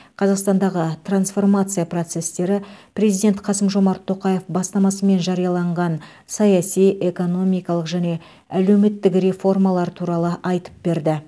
қазақстандағы трансформация процестері президент қасым жомарт тоқаев бастамасымен жарияланған саяси экономикалық және әлеуметтік реформалар туралы айтып берді